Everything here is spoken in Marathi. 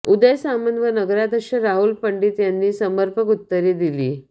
उदय सामंत व नगराध्यक्ष राहुल पंडित यांनी समर्पक उत्तरे दिली